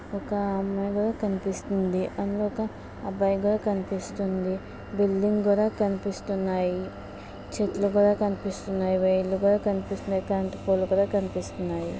ఒక అమ్మాయి కనిపిస్తుందా అబ్బాయిగా కనిపిస్తుంది బిల్డింగ్ కూడా కనిపిస్తున్నాయి చెట్లు కూడా కనిపిస్తున్నాయి వైర్లు కూడా కనిపిస్తున్నాయి కరెంట్ ఫోల్ కూడా కనిపిస్తున్నాయి